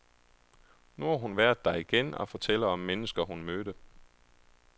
Nu har hun været der igen og fortæller om mennesker, hun mødte.